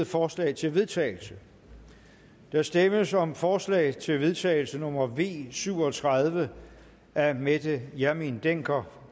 forslag til vedtagelse der stemmes om forslag til vedtagelse nummer v syv og tredive af mette hjermind dencker